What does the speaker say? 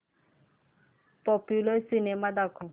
popular cinema दाखव